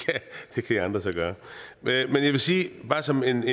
det kan i andre så gøre men bare som en